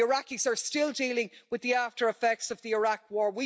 The Iraqis are still dealing with the after-effects of the Iraq war.